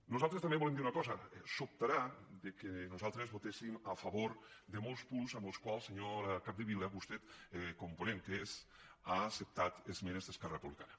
nosaltres també volem dir una cosa sobtarà que nosaltres votéssim a favor de molts punts en els quals senyora capdevila vostè com a ponent que és ha acceptat esmenes d’esquerra republicana